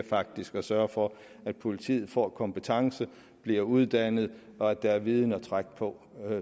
faktisk at sørge for at politiet får kompetence bliver uddannet og at der er viden at trække på